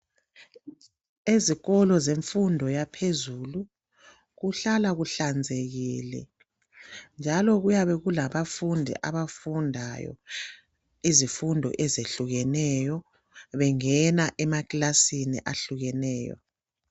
ezikolo zemfundo yaphezulu kuhlala kuhlanzekile njalo kuyabe kulabafundi abafundayo izimfundo ezihlukeneyo bengena emakilasini ahlukeneyo